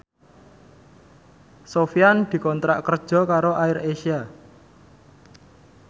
Sofyan dikontrak kerja karo AirAsia